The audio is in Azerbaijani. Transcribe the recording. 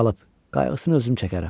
qayğısını özüm çəkərəm.